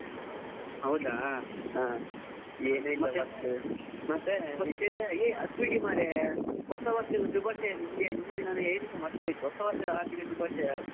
ಹೌದಾ, ಮತ್ತೆ ವಿಶೇಷ ಅದುಬಿಡಿ ಮರ್ರೆ, ಹೊಸ ವರ್ಷದ ಶುಭಾಶಯ ನಿಮಗೆ ಹೇಳಿಕ್ಕೆ ನಿಮಗೆ ಮರೆತು ಹೋಯಿತು ಹೊಸವರ್ಷದ ಹಾರ್ದಿಕ ಶುಭಾಶಯ.